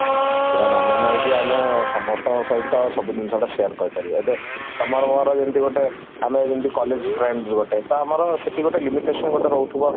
ସେଟା ମାନେ ନାହିଁ ଯେ ଆମେ ସମସ୍ତଙ୍କ ସହିତ ସବୁ ଜିନିଷ ଟା share କରିପାରିବ ଏବେ ତମର ମୋର ଯେମିତି ଗୋଟେ ଆମେ ଯେମତି college friends ଗୋଟେ ତ ଆମର ସେଠି ଗୋଟେ limitation ଗୋଟେ ରହୁଥିବ